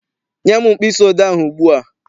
Nye m mkpịsị odee ahụ ugbu a!